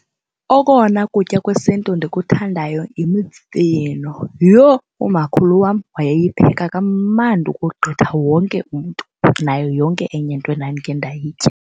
Okona kutya kwesiNtu ndikuthandayo yimifino. Yho! Umakhulu wam wayeyipheka kamandi ukogqitha wonke umntu nayo yonke enye into endandike ndayitya.